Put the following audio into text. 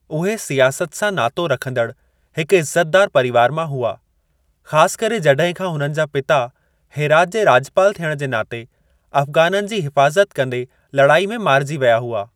उहे सियासत सां नातो रखंदड़ु हिकु इज़्ज़तिदारु परीवार मां हुआ, ख़ास करे जड॒हिं खां उन्हनि जा पिता हेरात जे राज॒पाल थियण जे नाते अफ़ग़ाननि जी हिफ़ाज़ति कंदे लड़ाई में मारिजी विया हुआ।